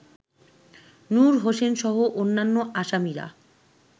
নূর হোসেনসহ অন্যান্য আসামিরা